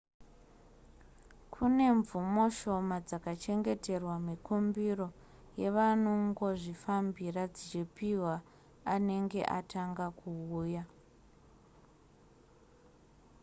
kune mvumo shoma dzakachengeterwa mikumbiro yevanongozvifambira dzichiphwa anenge atanga kuuya